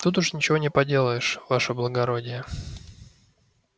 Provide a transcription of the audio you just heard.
тут уж ничего не поделаешь ваше благородие